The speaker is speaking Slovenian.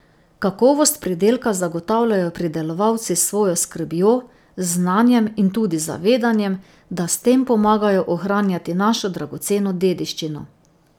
Kakovost pridelka zagotavljajo pridelovalci s svojo skrbjo, znanjem in tudi zavedanjem, da s tem pomagajo ohranjati našo dragoceno dediščino.